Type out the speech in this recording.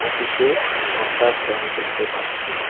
অফিসে একটা ফ্যান দেখতে পাচ্ছি।